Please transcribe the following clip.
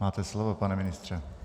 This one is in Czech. Máte slovo, pane ministře.